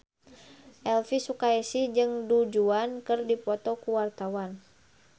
Elvy Sukaesih jeung Du Juan keur dipoto ku wartawan